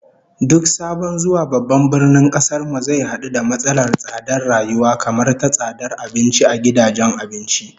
Duk sabon zuwa babban birnin kasar mu zai hadu da matsalar tsadar rayuwa, kamar ta tsadar abinci a gidajen abinci